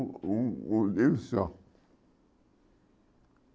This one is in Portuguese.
O o só.